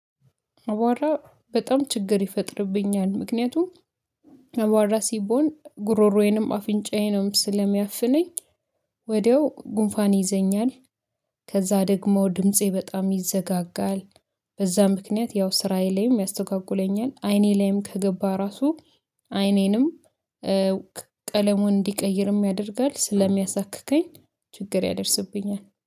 አቧራ በጣም ችግር ይፈጥርብኛል ምክንያቱም አቧራ ሲቦን ጉሮሮዬንም አፍንጫዬንም ስለሚያፍነኝ ወዲያው ጉንፋን ይዘኛል። ከዛ ደግሞ ድምፄ በጣም ይዘጋጋል። በዛ ምክንያት ያው ስራዬ ላይም ያስተጓግለኛል። አይኔ ላይም ከገባ ራሱ። አይኔንም ቀለሙን እንዲቀይርም ያደርጋል ስለሚያሳክከኝ ችግር ያደርስብኛል